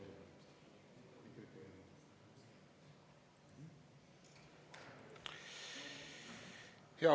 Aitäh!